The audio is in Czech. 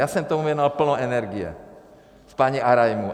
Já jsem tomu věnoval plno energie s paní Arajmu.